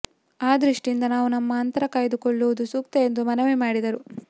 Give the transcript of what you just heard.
ಆ ದೃಷ್ಟಿಯಿಂದ ನಾವು ನಮ್ಮ ಅಂತರ ಕಾಯ್ದುಕೊಳ್ಳುವುದು ಸೂಕ್ತ ಎಂದು ಮನವಿ ಮಾಡಿದರು